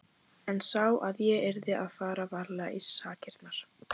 En sá að ég yrði að fara varlega í sakirnar.